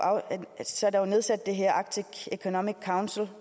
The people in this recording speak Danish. nedsat det her arctic economic council